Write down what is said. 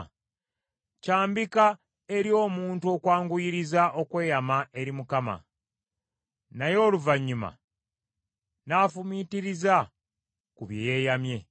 Kyambika eri omuntu okwanguyiriza okweyama eri Mukama , naye oluvannyuma n’afumiitiriza ku bye yeeyamye.